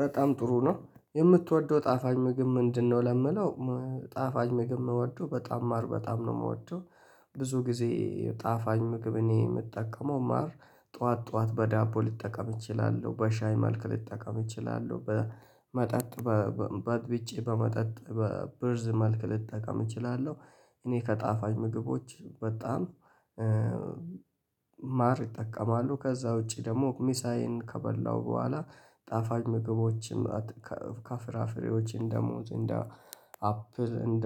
በጣም ጥሩ ነው የምትወደው ጣፋኝ ምግብ ምንድነው? ለምለው ጣፋኝ ምግብ መውደው በጣም ማር በጣም ነው የምወደው ብዙ ጊዜ ጣፋኝ ምግብ እኔ የምጠቀመው ማር። ጠዋት ጠዋት በዳቦ ልጠቀም እችላለሁ በሻይ መልክ ልጠቀም እችላለሁ በመጠጥ በጥብጬ በመጠጥ በብርዝ መልክ ልጠቀም እችላለሁ። እኔ ከጣፋኝ ምግቦች በጣም ማር እጠቀማሉ ከዛ ውጪ ደግሞ ሚሳዬን ከበላሁ በኋላ ጣፋጭ ምግቦችን ከፍራፍሬዎች እንደ ሙዝ እንደ አፕል እንደ